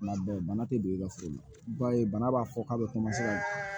Kuma bɛɛ bana tɛ don i ka foro la i b'a ye bana b'a fɔ k'a bɛ